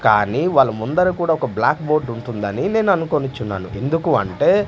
కానీ వాళ్ళ ముందర కూడా ఒక బ్లాక్ బోర్డు ఉంటుందని నేను అనుకోనుచున్నాను ఎందుకు అంటే.